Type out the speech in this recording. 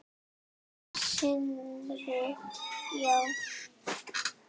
Sindri: Já?